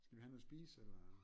Skal vi have noget at spise eller